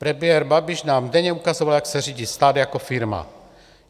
Premiér Babiš nám denně ukazoval, jak se řídí stát jako firma.